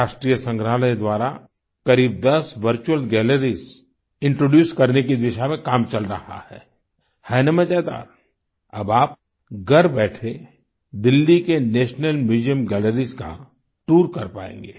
राष्ट्रीय संग्राहलय द्वारा करीब दस वर्चुअल गैलरीज इंट्रोड्यूस करने की दिशा में काम चल रहा है है ना मज़ेदार अब आप घर बैठे दिल्ली के नेशनल म्यूजियम गैलरीज का टूर कर पायेंगे